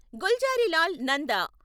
Gulzarilal Nanda